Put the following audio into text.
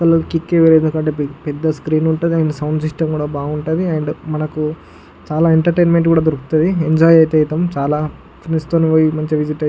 kick ఏ వేరే వుంటది ఎందుకంటే పేద్ద వుంటుంది అండ్ సౌండ్ సిస్టం కూడా బాగుంటది అండ్ మనకి చాలా ఎంతెర్మైనేంట్ అయతె దొరుకుతది చాల ఎంజాయ్ చేస్తాం ఫ్రెండ్ తోని పోయి మంచిగా --